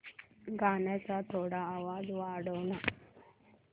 गाण्याचा थोडा आवाज वाढव ना